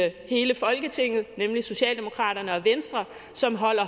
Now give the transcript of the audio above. i hele folketinget nemlig socialdemokraterne og venstre som holder